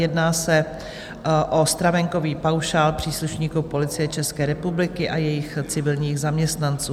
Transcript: Jedná se o stravenkový paušál příslušníků Policie České republiky a jejích civilních zaměstnanců.